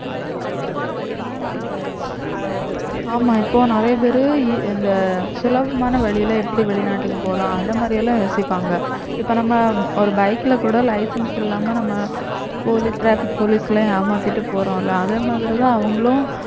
ஆமா இப்போ நிறைய பேரு இ~ இந்த சுலபமான வழியில எப்படி வெளிநாட்டுக்கு போலாம் அந்த மாதிரி எல்லாம் யோசிப்பாங்க இப்ப நம்ம ஒரு bike ல கூட license இல்லாம நம்ம poli~ traffic police எல்லாம் ஏமாத்திட்டு போறோம்ல அதே மாதிரிதான் அவங்களும்